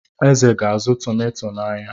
Eze ga-azụ tomato n'ahịa.